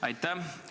Aitäh!